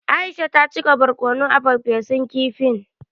Aisha ta cika barkono a farfesun kifin.